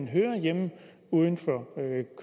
hører hjemme uden for